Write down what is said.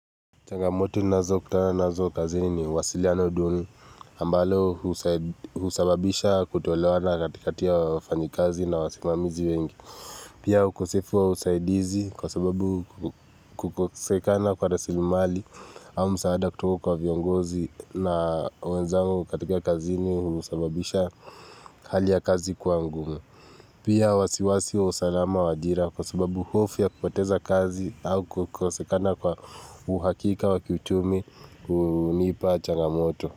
Changamoto nazo kutana nazo kazini ni wasili ya duni ambalo usababisha kutolewana katika tia wafani kazi na wasimamizi wengi Pia ukosefu wa usaidizi kwa sababu kukosekana kwa rasilimali au msaada kutuka kwa viongozi na wenzangu katika kazini unasababisha hali ya kazi kwa ngumu Pia wasiwasi wa usalama wa ajira kwa sababu hofu ya kupoteza kazi au kukosekana kwa uhakika wa kiuchumi, hunipa, changamoto.